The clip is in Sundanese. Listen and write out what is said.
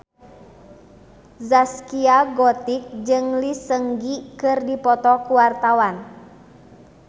Zaskia Gotik jeung Lee Seung Gi keur dipoto ku wartawan